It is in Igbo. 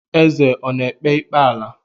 Eze ọ ekpe ikpe ala?